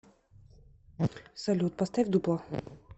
салют поставь дипло